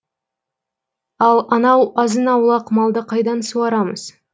ал анау азын аулақ малды қайдан суарамыз